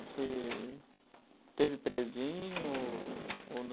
Você teve prezinho ou ou não?